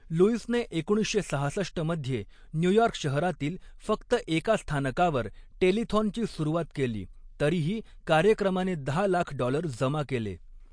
लुईसने एकोणीसशे सहासष्ट मध्ये न्यूयॉर्क शहरातील फक्त एका स्थानकावर टेलिथॉनची सुरुवात केली, तरीही कार्यक्रमाने दहा लाख डॉलर जमा केले.